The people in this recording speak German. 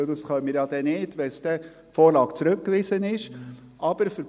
Diese könnten wir, sollte die Vorlage zurückgewiesen werden, nicht durchführen.